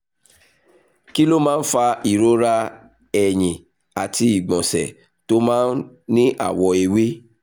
kí ló máa ń fa ìrora ẹ̀yìn àti ìgbọ̀nsẹ̀ tó máa ń ní àwọ̀ ewé?